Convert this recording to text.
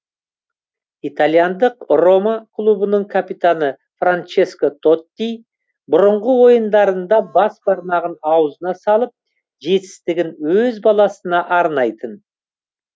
итальяндық рома клубының капитаны франческо тотти бұрынғы ойындарында бас бармағын аузына салып жетістігін өз баласына арнайтын